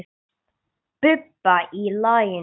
Bubba í laginu.